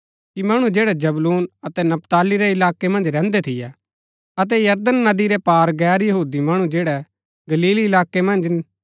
मणु जैड़ै जबूलून अतै नपताली रै इलाकै मन्ज रैहन्दै थियै अतै यरदन नदी रै पार गैर यहूदी मणु जैड़ै गलील इलाकै मन्ज